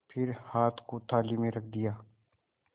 फिर हाथ को थाली में रख दिया